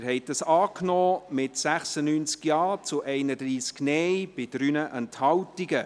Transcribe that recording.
Sie haben diesen Antrag angenommen, mit 96 Ja- zu 31 Nein-Stimmen bei 3 Enthaltungen.